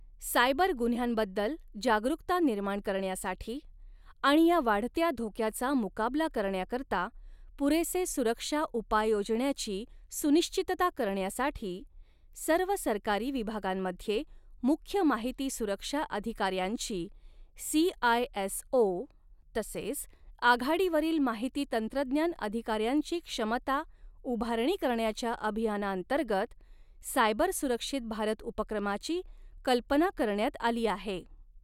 Cyber गुन्ह्यांबद्दल जागरूकता निर्माण करण्यासाठी आणि या वाढत्या धोक्याचा मुकाबला करण्याकरता, पुरेसे सुरक्षा उपाय योजण्याची सुनिश्चितता करण्यासाठी, सर्व सरकारी विभागांमध्ये मुख्य माहिती सुरक्षा अधिकाऱ्यांची, सीआयएसओ, तसेच आघाडीवरील माहिती तंत्रज्ञान अधिकाऱ्यांची क्षमता उभारणी करण्याच्या अभियानांतर्गत, सायबर सुरक्षित भारत उपक्रमाची, कल्पना करण्यात आली आहे.